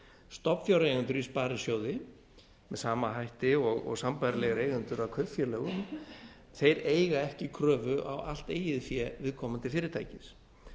stofnfjáreigendur í sparisjóði með sama hætti og sambærilegir eigendur að kaupfélögum þeir eiga ekki kröfu á allt eigið fé viðkomandi fyrirtækis